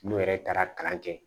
N'o yɛrɛ taara kalan kɛ